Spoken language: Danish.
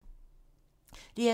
DR2